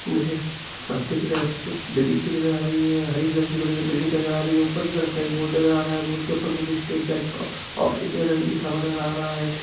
मुझे के तरफ कुछ बिल्डिंग सी नज़र आ रही है और हर एक बिल्डिंग सी नज़र आ रही है ऊपर के तरफ कई बोर्ड नज़र आ रहे है मुझे स्टेट बैंक ऑफ़ इंडिया लिखा हुआ नज़र आ रहा है। .>